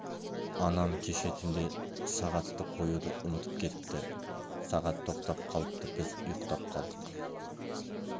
анам кеше түнде сағатты қоюды ұмытып кетіпті сағат тоқтап қалыпты біз ұйықтап қалдық